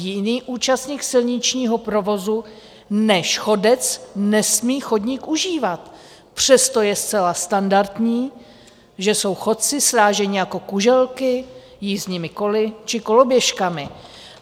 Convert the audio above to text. Jiný účastník silničního provozu než chodec nesmí chodník užívat, přesto je zcela standardní, že jsou chodci sráženi jako kuželky jízdními koly či koloběžkami.